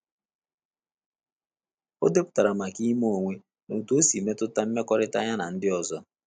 O depụtara maka ịma onwe na otu osi metuta mmekọrịta ya na ndị ọzọ